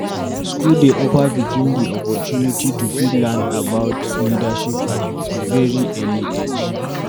School dey offer pikin dem di opportunity to fit learn about leadership at very early age